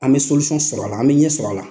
An bɛ sɔrɔ a la an bɛ ɲɛ sɔrɔ a la.